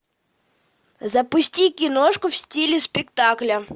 запусти киношку в стиле спектакля